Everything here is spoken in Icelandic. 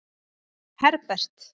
Herbert